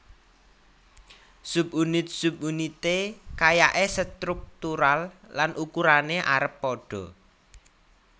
Subunit subunité kayaé sétruktural lan ukurané arep padha